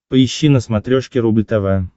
поищи на смотрешке рубль тв